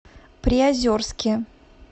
приозерске